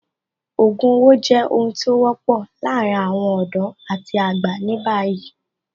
Ògùn owó jẹ́ ohun tí ó wọ́pọ̀ láàárín àwọn ọ̀dọ́ àti àgbà ní báyìí